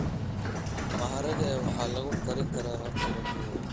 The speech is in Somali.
Maharage waxaa lagu kari karaa habab kala duwan.